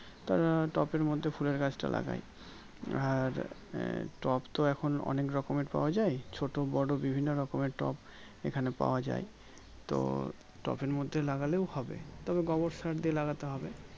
তারা টবের মধ্যে ফুলের গাছটা লাগাই আর আহ টব তো অনেক রকমের পাওয়া যাই ছোটো বড়ো বিভিন্ন রকমের টব এখানে পাওয়া যাই তো টবের মধ্যে লাগলেও হবে তবে গোবর সার দিয়ে লাগাতে হবে